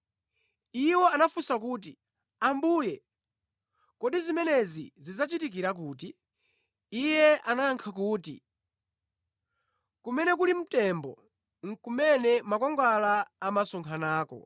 Iwo anafunsa kuti, “Ambuye, kodi zimenezi zidzachitikira kuti?” Iye anayankha kuti, “Kumene kuli mtembo, nʼkumene makwangwala amasonkhanako.”